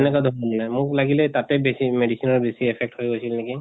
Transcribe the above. তেনেকা মোক লাগিলে তাতে বেছি medicine ৰ বেছি affect হৈ গৈছিল নেকি।